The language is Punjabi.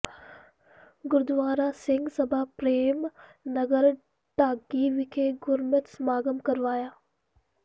ਗੁਰਦੁਆਰਾ ਸਿੰਘ ਸਭਾ ਪ੍ਰੇਮ ਨਗਰ ਢਾਕੀ ਵਿਖੇ ਗੁਰਮਤਿ ਸਮਾਗਮ ਕਰਵਾਇਆ